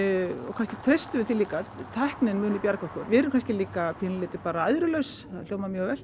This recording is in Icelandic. kannski treystum við því líka að tæknin muni bjarga okkur við erum kannski líka bara æðrulaus það hljómar mjög vel